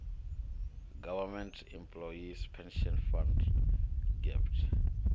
government employees pension fund gepf